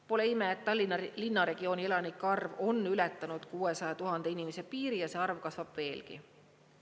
Pole ime, et Tallinna linnaregiooni elanike arv on ületanud 600 000 inimese piiri ja see arv kasvab veelgi.